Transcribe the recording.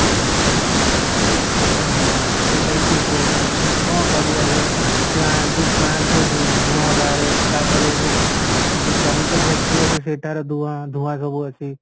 ହଁ ସେଇଟାବି ଠିକ କହୁଚ କ'ଣ କରିବା ଏବେ plan ଯୋଉ plant ରେ ଧୁ ଧୂଆଁ ତାପରେ ଯୋଉ ଯୋଉ chemical factory ଅଛି ସେଠାର ଧୂଆଁ ଧୂଆଁ ସବୁ ଅଛି